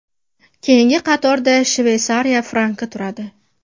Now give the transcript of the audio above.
Keyingi qatorda Shveysariya franki turadi.